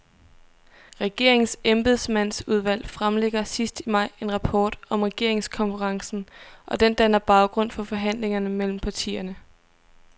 Regeringens embedsmandsudvalg fremlægger sidst i maj en rapport om regeringskonferencen, og den danner baggrund for forhandlingerne mellem partierne.